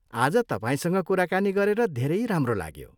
आज तपाईँसँग कुराकानी गरेर धेरै राम्रो लाग्यो।